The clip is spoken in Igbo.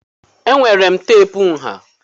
Enwere m teepu nha.